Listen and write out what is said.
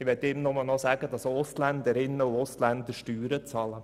: Ich möchte ihm nur sagen, dass auch Ausländerinnen und Ausländer Steuern bezahlen.